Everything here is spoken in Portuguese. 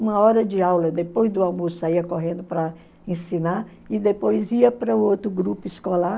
Uma hora de aula, depois do almoço, saia correndo para ensinar e depois ia para o outro grupo escolar.